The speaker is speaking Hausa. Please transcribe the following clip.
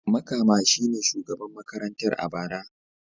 Makama shi ne shugaban makarantar a bara.